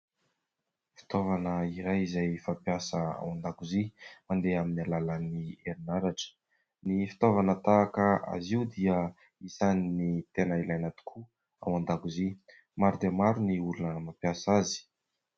Fitaovana iray izay fampiasa ao an-dakozia mandeha amin'ny alalan'ny herinaratra. Ny fitaovana tahaka azy io dia isan'ny tena ilaina tokoa ao an-dakozia . Maro dia maro ny olona mampiasa azy.